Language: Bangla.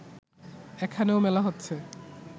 এখানেও মেলা হচ্ছে